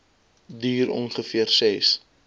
duur ongeveer ses